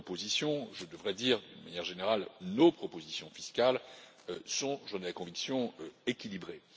proposition, je devrais dire, de manière générale, nos propositions fiscales sont j'en ai la conviction équilibrées.